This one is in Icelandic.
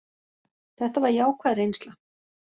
Þetta var jákvæð reynsla.